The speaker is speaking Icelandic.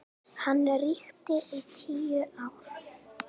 Hann ríkti í tíu ár.